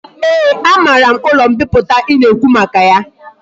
Ee a mara m ulo mpiputa i na ekwu maka ya